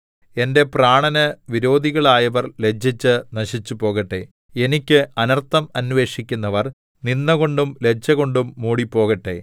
എന്റെ പ്രാണന് വിരോധികളായവർ ലജ്ജിച്ച് നശിച്ചുപോകട്ടെ എനിക്ക് അനർത്ഥം അന്വേഷിക്കുന്നവർ നിന്ദകൊണ്ടും ലജ്ജകൊണ്ടും മൂടിപ്പോകട്ടെ